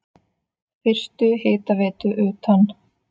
Fyrstu hitaveitu utan